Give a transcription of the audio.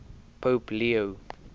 pope leo